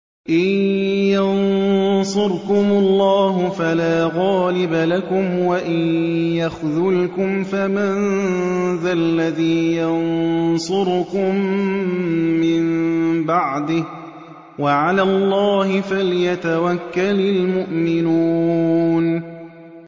إِن يَنصُرْكُمُ اللَّهُ فَلَا غَالِبَ لَكُمْ ۖ وَإِن يَخْذُلْكُمْ فَمَن ذَا الَّذِي يَنصُرُكُم مِّن بَعْدِهِ ۗ وَعَلَى اللَّهِ فَلْيَتَوَكَّلِ الْمُؤْمِنُونَ